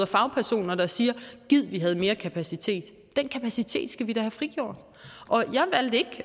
fagpersoner der siger gid vi havde mere kapacitet den kapacitet skal vi da have frigjort